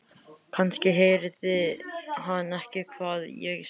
Kannski heyrði hann ekki hvað ég sagði.